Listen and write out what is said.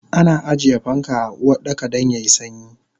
Ana ajiye fanka a Uwardaka dan yayi sanyi